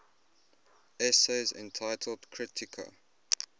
essays entitled kritika